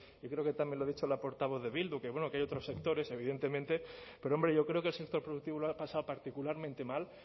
creo que también lo ha dicho la portavoz de bildu que hay otros sectores evidentemente pero hombre yo creo que el sector productivo lo ha pasado particularmente mal